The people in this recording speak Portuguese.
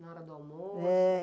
Na hora do almoço?